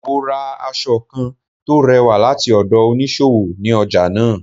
Mo ra aṣọ kán tò rẹ̀wà lati ọdọ oniṣowo, ní ọja naa.